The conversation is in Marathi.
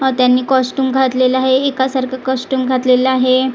व त्यांनी कॉस्ट्युम घातलेलं आहे एका सारखं कॉस्ट्युम घातलेलं आहे.